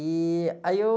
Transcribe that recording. E aí eu...